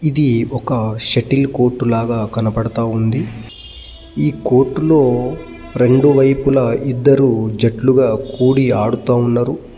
ఇది ఒక shuttle court లాగా కనపడతా ఉంది ఈ కోర్టు లో రెండు వైపులా ఇద్దరూ జట్లుగా కూడి ఆడుతా ఉన్నారు .